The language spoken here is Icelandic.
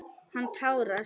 Hann tárast.